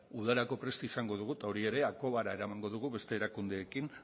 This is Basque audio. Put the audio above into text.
udararako prest izango dugu eta hori ere akobara eramango dugu beste erakundeekin